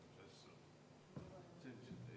Vaheaeg on lõppenud.